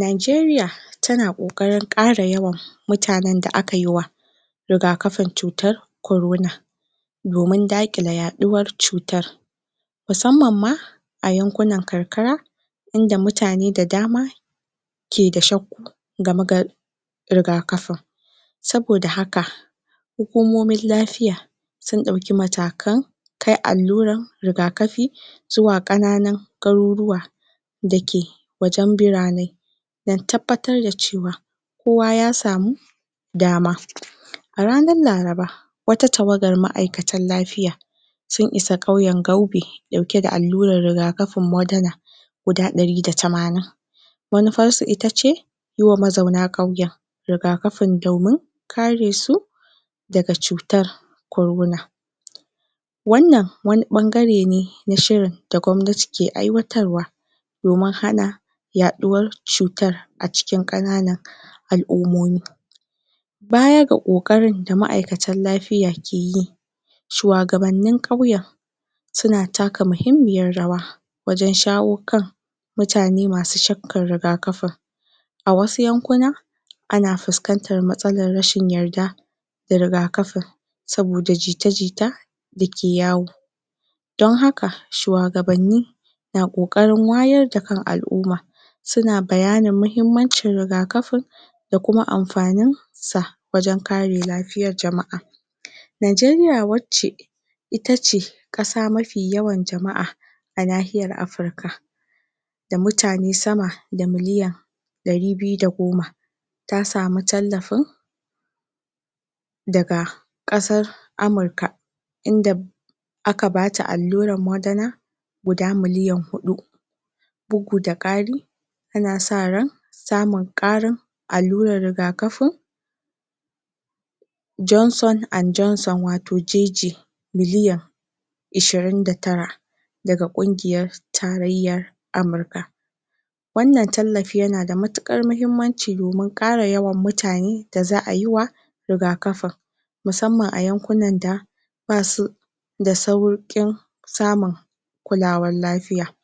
Najeriya tana koƙarin ƙara yawan mutanan da akai wa rigakafin cutar Korona domin daƙile yaɗuwar cutar musamma ma a yankunan karkara inda mutane da dama ke da shauku gama gar rigakafin saboda haka hukumomin lafiya sun ɗauki matakan kai allurar rigakafi zuwa ƙananun garuruwa dake wajan burane dan tabbatar da cewa kowa ya samu dama A ranar Laraba wata tawagar ma'aikatan lafiya sun isa ƙauyan Gaube ɗauke da allurar rigakafin Modala guda ɗari da tamanin manufar su itace yiwa mazauna ƙauyen rigakafin domin kare su daga cutar Korona wannan wani ɓangare ne na shirin da gwabnati ke aiwatarwa domin hana yaɗuwar cutar a cikin ƙananan al'umomi Baya da ƙoƙarin da ma'aikatan lafiya ke yi shuwagabanin ƙauye suna taka mahimmiyar rawa wajan shawo kan mutane masu shakkar rigakafi a wasu 'yan kuna ana fuskantar matsalar rashin yadda da rigakafin saboda jita jita dake yawo dan haka shuwagabanni na ƙoƙarin wayar da kan al'umma suna bayanin mahimmancin rigakafin da kuma amfanin sa wajan kare lafiyar jama'a Najeriya wacce itace ƙasa mafi yawan jama'a a nahiyar Afirka da mutane sama da miliyan ɗari biyu da goma ta sami tallafin daga ƙasar Amurka inda aka bata allurar Modana guda miliyan huɗu bugu da ƙari ana sa ran samun ƙari allura rigakafin Johnson and Johnson wato JJ miliyan ashirin da tare daga kungiyar tarayyar Amurka wannan tallafi yana da matuƙar mahimmanci domin ƙara yawan mutane da za'a yi wa rigakafin musamman a yankunan da basu da sauƙin samun kulawar lafiya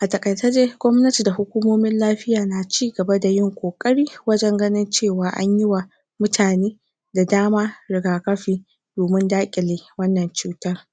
a taƙaice dai gwamnati da hukumin lafiya na cigaba da yin koƙari wajan ganin cewa anyi wa mutane da dama rigakafi domin daƙile wannan cuta